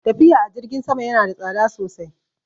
Tafiya a jirgin sama ya na da tsada sosai